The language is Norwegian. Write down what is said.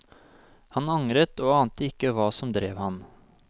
Han angret og ante ikke hva som drev ham.